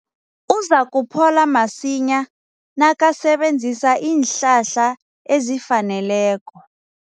Uzakuphola masinyana nakasebenzisa iinhlahla ezifaneleko.